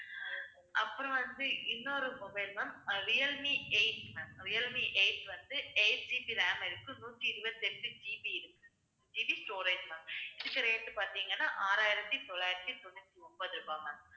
அப்புறம் வந்து இன்னொரு mobile ma'am ah Realme eight ma'am Realme eight வந்து 8GB RAM இருக்கு நூத்தி இருபத்தி எட்டு GB இருக்கு GB storage ma'am இதுக்கு rate பார்த்தீங்கன்னா, ஆறாயிரத்தி தொள்ளாயிரத்தி தொண்ணூத்தி ஒன்பது ரூபாய் ma'am